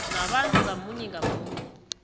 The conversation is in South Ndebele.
nabantu ngamunye ngamunye